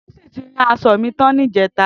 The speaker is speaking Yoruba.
Tosin ti ràn áṣò mi tàn nijètá